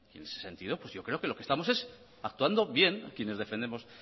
en ese sentido yo creo que estamos actuando bien quienes defendemos